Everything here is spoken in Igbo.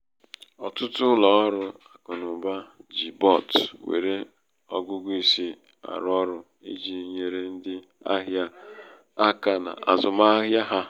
ọtụtụ ụlọ ọrụ akụnaụba ji bot nwere ọgụgụ isi arụ ọrụ i ji nyere ndị ahịa aka n' azụmahịa ha